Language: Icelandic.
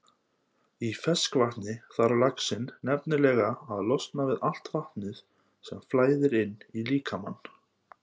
Í ferskvatni þarf laxinn nefnilega að losna við allt vatnið sem flæðir inn í líkamann.